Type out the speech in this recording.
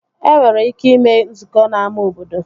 E nwere ike ime nzukọ n'ámá obodo